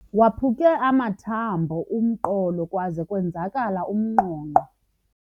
Waphuke amathambo umqolo kwaze kwenzakala umnqonqo.